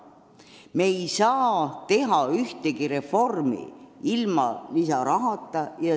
Me ei saa teha ühtegi reformi ilma lisarahata.